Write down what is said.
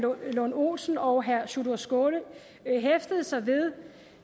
lund olesen og herre sjúrður skaale hæftede sig ved